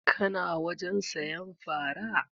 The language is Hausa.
Ka na wajen sayan fara?